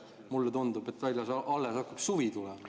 Mulle tundub, et väljas alles hakkab suvi tulema.